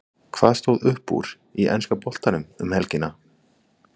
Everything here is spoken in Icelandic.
Hvað stóð upp úr í enska boltanum um helgina?